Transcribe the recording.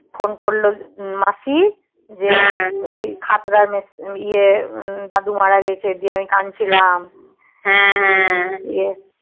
phone করলো মাসি যে এই খাত্রার মেস ইয়ে দাদু মারা গিয়েছি যে আমি কানছিলাম